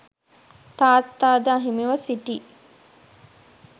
තාත්තාද අහිමිව සිටි